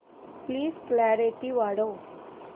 please clarity वाढव